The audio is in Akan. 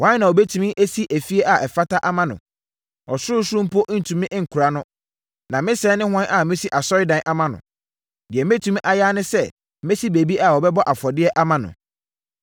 Hwan na ɔbɛtumi asi efie a ɛfata ama no? Ɔsorosoro mpo ntumi nkora no. Na me sɛɛ ne hwan a mɛsi asɔredan ama no? Deɛ mɛtumi ayɛ ara ne sɛ mɛsi baabi a wɔbɛbɔ afɔdeɛ ama no.